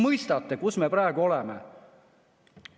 Mõistate, kus me praegu oleme?